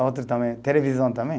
Outro também, televisão também